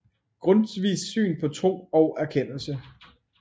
Grundtvigs Syn på Tro og Erkendelse